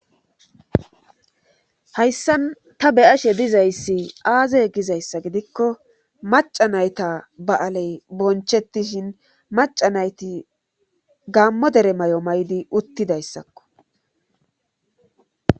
Hayssan ta beyashe dizayssi aaze gizayssa gidikko maca nayta ba'aley bonchettishin maca nayti gammo dere may'o maydi uttidayssakko